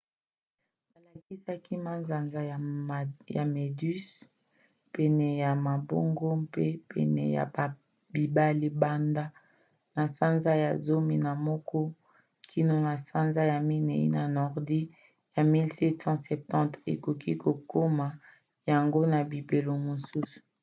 balakisaka manzanza ya méduses pene ya mabongo mpe pene ya bibale banda na sanza ya zomi na moko kino na sanza ya minei na nordi ya 1770. okoki komona yango na bileko mosusu